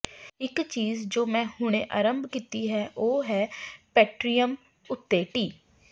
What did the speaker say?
ਇੱਕ ਚੀਜ਼ ਜੋ ਮੈਂ ਹੁਣੇ ਅਰੰਭ ਕੀਤੀ ਹੈ ਉਹ ਹੈ ਪੈਟ੍ਰਿਯਨ ਉੱਤੇ ਟਿ